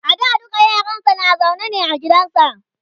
a da dukka yaransa na zaune ne a gidansa